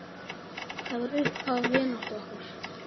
Það var upphaf vináttu okkar.